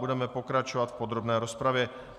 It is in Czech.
Budeme pokračovat v podrobné rozpravě.